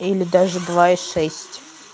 или даже два и шесть